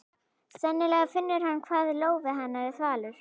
Sennilega finnur hann hvað lófi hennar er þvalur.